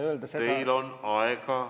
Teil on aega.